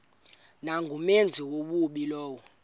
nangumenzi wobubi lowo